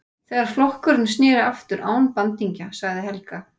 Þegar flokkurinn sneri aftur án bandingja, sagði Helga.